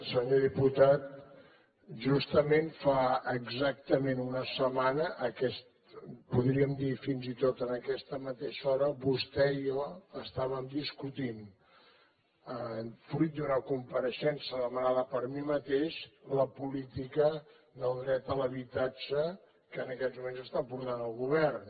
senyor diputat justament fa exactament una setmana podríem dir fins i tot en aquesta mateixa hora vostè i jo estàvem discutint fruit d’una compareixença demanada per mi mateix la política del dret a l’habitatge que en aquests moments està portant el govern